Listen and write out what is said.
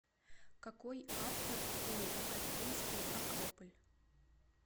какой автор у афинский акрополь